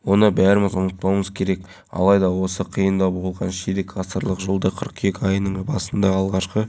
кәмшат жұбаева ата-ана еркеназ бекзат оқушы бұл аула өте әдемі күнде келемін достарыммен ойнаймын әлия жампозова